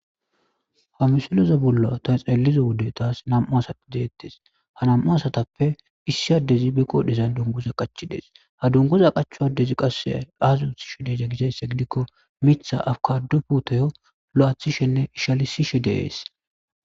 ha misoloza bollo ta xeeliza wude taas nam7u asaideettes ha nam7u asatappe issi addezi be qodhezan dungoza qachidees ha dungoza qachu addezi qasse azuuthishe deeza gizeesse gidikko mitha afkadu putoyo lo7aathishenne ishalisishe deees